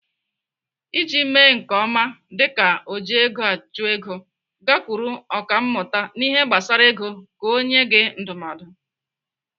Iji mee nke ọma dịka ojiegoachụego, gakwuru ọkàmmụta n'ihe gbasara ego ka ọ nyee gị ndụmọdụ.